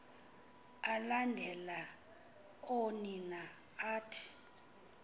alandela oonina athi